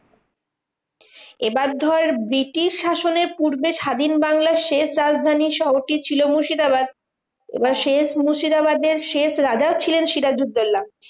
এবার ধর ব্রিটিশ শাসনের পূর্বে স্বাধীন বাংলার শেষ রাজধানী শহরটি ছিল মুর্শিদাবাদ। এবার শেষ মুর্শিদাবাদের শেষ রাজাও ছিলেন সিরাজুদ্দোল্লা।